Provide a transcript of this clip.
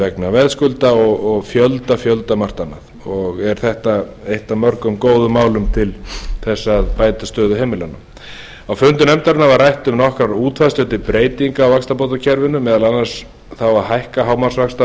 vegna veðskulda og fjölda fjölda margt annað er þetta eitt af mörgum góðum málum til þess að bæta stöðu heimilanna á fundum nefndarinnar var rætt um nokkrar útfærslur til breytinga á vaxtabótakerfinu meðal annars þá að hækka